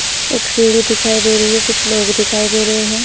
एक सीढी दिखाई दे रही है। कुछ लोग दिखाई दे रहे हैं।